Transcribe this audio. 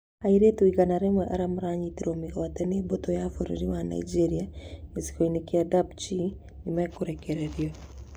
Airĩtu igana rĩmwe arĩa manyitĩtwo mĩgwate nĩ mbũtũ ya bũrũri wa Nigeria gĩcigo-inĩ kĩa Dapchi "nĩmarekererio"